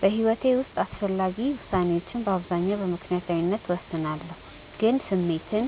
በሕይወቴ ውስጥ አስፈላጊ ውሳኔዎችን በአብዛኛው በምክንያታዊነት እወስናለሁ፣ ግን ስሜትን